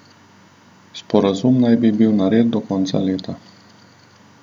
Sporazum naj bi bil nared do konca leta.